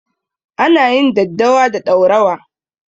Ana yin daddawa da ɗaurawa.